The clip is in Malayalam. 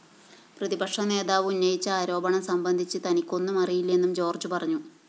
പ്രതിപക്ഷനേതാവ് ഉന്നയിച്ച ആരോപണം സംബന്ധിച്ച് തനിക്കൊന്നുമറിയില്ലെന്നും ജോര്‍ജ്ജ് പറഞ്ഞു